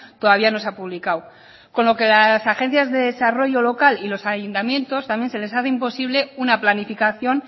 todavía no se ha publicado con lo que las agencias de desarrollo local y los ayuntamientos también se les hace imposible una planificación